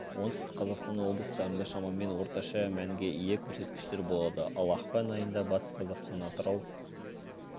оңтүстік қазақстан облыстарында шамамен орташа мәнге ие көрсеткіштер болады ал ақпан айында батыс қазақстан атырау